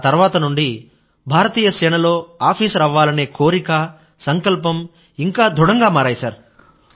ఆ తర్వాత నుండీ భారతీయ సేనలో ఆఫీసర్ అవ్వాలనే కోరిక సంకల్పం ఇంకా దృఢంగా మారాయి సర్